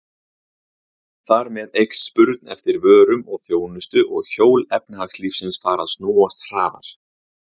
Þar með eykst spurn eftir vörum og þjónustu og hjól efnahagslífsins fara að snúast hraðar.